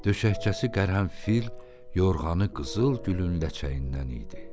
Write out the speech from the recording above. Döşəkçəsi qərənfil, yorğanı qızıl gülün ləçəyindən idi.